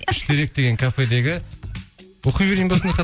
үштерек деген кафедегі оқи берейін бе осындай